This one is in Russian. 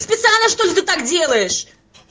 специально чтоль ты так делаешь